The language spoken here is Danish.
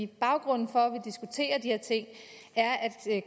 baggrunden for at de her ting er at